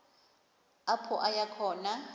apho aya khona